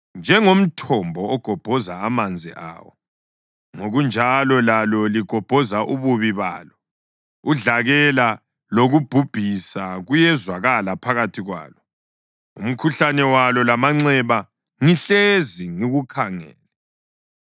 Njengomthombo ugobhoza amanzi awo, ngokunjalo lalo ligobhoza ububi balo. Udlakela lokubhubhisa kuyezwakala phakathi kwalo, umkhuhlane walo lamanxeba ngihlezi ngikukhangele.